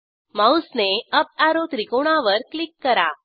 माऊसने up arrow त्रिकोणावर click करा